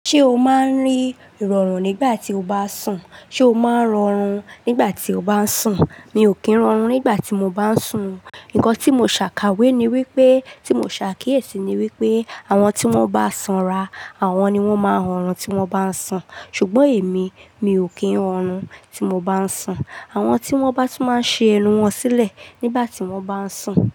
Ṣé o máa ń rí ìrọ̀rùn nígbà tí o bá ń sùn? Sé o máà ń họrùn nígbà tí o bá ń sùn? Mi ò kí ń rọrùn nígbà tí mo bá ń sùn. Ǹkan tí mo ṣà káwé ni wípé, tí mo ṣà kíyèsí ni wípé àwọn tí wón bá sanra, àwọn ni wón máa ń họrùn tí wón bá ń sùn. Ṣùgbọ́n èmi, mi ò kí ń họrùn tí mo bá ń sùn. Àwọn tí wón bá tún máa ń ṣi ẹnu wọn sílẹ̀ nígbà tí wón bá ń sùn.